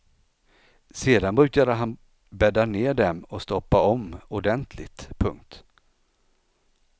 Sedan brukade han bädda ner dem och stoppa om ordentligt. punkt